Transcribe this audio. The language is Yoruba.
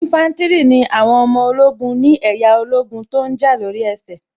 Ínfántìrì ni àwọn ọmọ ogun ni ẹ̀yà ológun tó ǹ jà lóri ẹsẹ̀